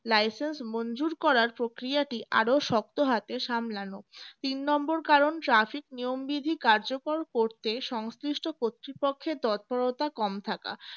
licence মনজুর করার প্রক্রিয়াটি আরো শক্ত হাতে সামলানো তিন number কারণ traffic নিয়মবিধির কার্যকর করতে সংশ্লিষ্ট কর্তৃপক্ষের তৎপরতা কম থাকা